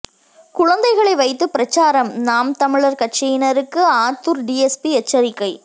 குழந்தைகளை வைத்து பிரசாரம் நாம் தமிழர் கட்சியினருக்கு ஆத்தூர் டிஎஸ்பி எச்சரிக்கை